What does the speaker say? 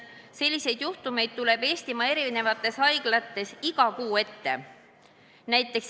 Selliseid juhtumeid tuleb Eestimaa haiglates ette igas kuus.